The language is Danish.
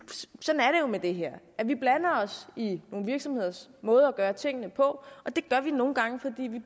med det her vi blander os i nogle virksomheders måde at gøre tingene på og det gør vi nogle gange fordi vi